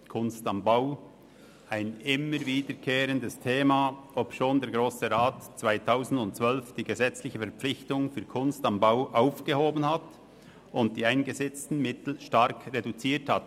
«Kunst am Bau» ist ein immer wiederkehrendes Thema, obschon der Grosse Rat 2012 die gesetzliche Verpflichtung für «Kunst am Bau» aufgehoben und die dafür eingesetzten Mittel stark reduziert hat.